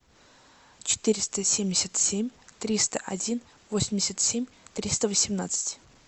четыреста семьдесят семь триста один восемьдесят семь триста восемнадцать